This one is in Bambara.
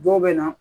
Dɔw bɛ na